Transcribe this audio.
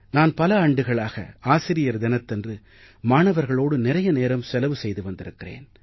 நான் பல ஆண்டுகளாக ஆசிரியர் தினத்தன்று மாணவர்களோடு நிறைய நேரம் செலவு செய்து வந்திருக்கிறேன்